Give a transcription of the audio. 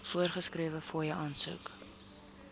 voorgeskrewe fooie aansoek